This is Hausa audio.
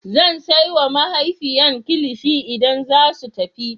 Zan sai wa matafiyan kilishi idan zasu tafi.